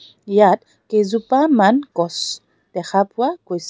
ইয়াত কেইজোপামান গছ দেখা পোৱা গৈছে.